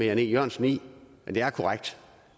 jan e jørgensen i at det er korrekt